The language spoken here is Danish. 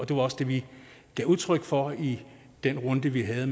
og det var også det vi gav udtryk for i den runde vi havde